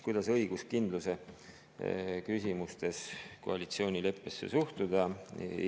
Kuidas õiguskindluse küsimustes koalitsioonileppesse suhtuda?